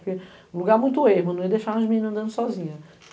Porque o lugar é muito êrmano e deixava as meninas andando sozinhas.